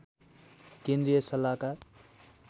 केन्द्रीय सल्लाहकार